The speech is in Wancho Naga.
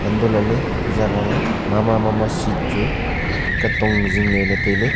hantoh lah ley e jaga ma ma ma seat chu kan tong ang ley zing ley le tai ley.